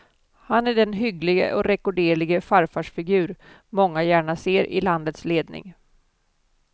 Han är den hygglige och rekorderlige farfarsfigur många gärna ser i landets ledning.